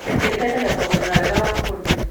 Mĩtĩ ĩteithagia kuongerera wega wa kũndũ.